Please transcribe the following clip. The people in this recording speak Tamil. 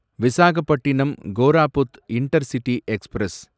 Visakhapatnam Koraput intercity express